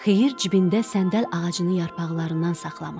Xeyir cibində səndəl ağacının yarpaqlarından saxlamışdı.